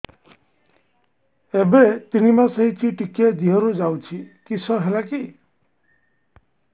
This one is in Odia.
ଏବେ ତିନ୍ ମାସ ହେଇଛି ଟିକିଏ ଦିହରୁ ଯାଉଛି କିଶ ହେଲାକି